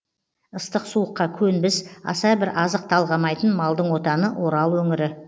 ыстық суыққа көнбіс аса бір азық талғамайтын малдың отаны орал өңірі